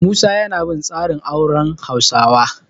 Musa yana bin tsarin auren Hausawa.